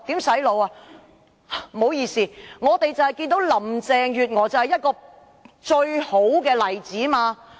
不好意思，林鄭月娥便是最佳例子。